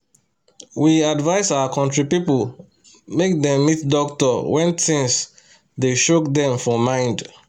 we advise our country people make dem meet doctor when thins dey choke dem for mind